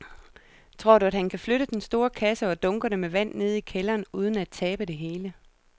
Tror du, at han kan flytte den store kasse og dunkene med vand ned i kælderen uden at tabe det hele?